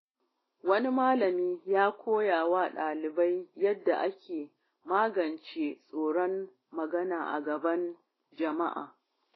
Wani malami ya koya wa dalibai yadda ake magance tsoron magana a gaban jama’a.